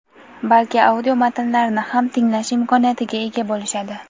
balki audio matnlarni ham tinglash imkoniyatiga ega bo‘lishadi.